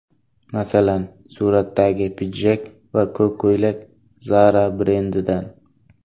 Masalan, suratdagi pidjak va ko‘k ko‘ylak Zara brendidan.